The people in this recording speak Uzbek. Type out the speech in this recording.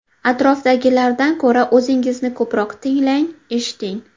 Atrofdagilardan ko‘ra o‘zingizni ko‘proq tinglang, eshiting.